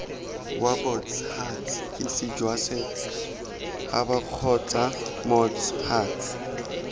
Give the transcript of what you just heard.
wabots huts hisijwasets habakgotsamots huts